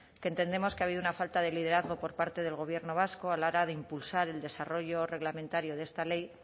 que entendemos que ha habido una falta de liderazgo por parte del gobierno vasco a la hora de impulsar el desarrollo reglamentario de esta ley